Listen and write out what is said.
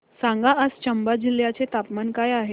सांगा आज चंबा जिल्ह्याचे तापमान काय आहे